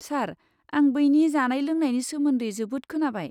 सार, आं बैनि जानाय लोंनायनि सोमोन्दै जोबोद खोनाबाय।